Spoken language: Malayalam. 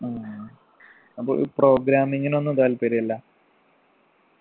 ആഹ് അപ്പൊ ഈ programming നൊന്നും താല്പര്യം ഇല്ല